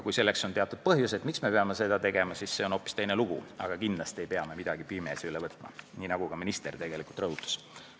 Kui on põhjuseid, miks me peame seda tegema, siis on hoopis teine lugu, kuid kindlasti ei pea me midagi pimesi üle võtma, nii nagu ka minister tegelikult rõhutas.